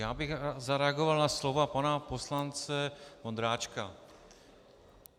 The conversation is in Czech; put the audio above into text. Já bych zareagoval na slova pana poslance Vondráčka.